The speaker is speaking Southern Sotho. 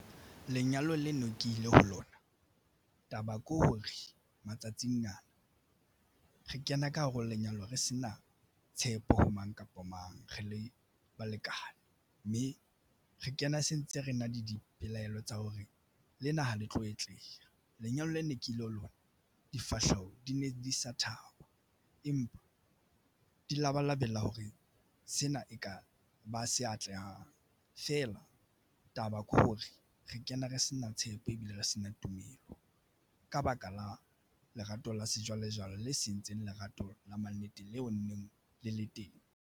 Lenyalo leno ke ile ho lona taba ko. Re matsatsing ana re kena ka hare ho lenyalo re se na tshepo ho mang kapa mang re le balekane mme re kena se ntse re na le dipelaelo tsa hore lena ha le tlo atleha. Lenyalo lena ke la la difahleho. Di ne di sa thaba empa di labalabela hore sena eka ba se atlehang feela taba ke hore re kene re sena tshepo ebile re sena tumelo. Ka baka la lerato la sejwalejwale le sentseng lerato la mannete leo nneng le le teng.